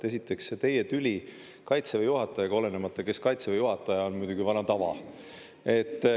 Esiteks, see teie tüli Kaitseväe juhatajaga, olenemata, kes Kaitseväe juhataja on, on muidugi vana tava.